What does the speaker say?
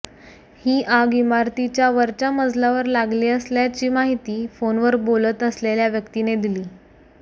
ही आग इमारतीच्या वरच्या मजल्यावर लागली असल्याची माहिती फोनवर बोलत असलेल्या व्यक्तीने दिली